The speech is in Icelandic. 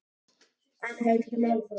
En höldum áfram: